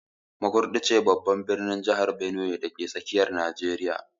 Makurdi babban birnin jihar Benue ne, dake tsakiyar Najeriya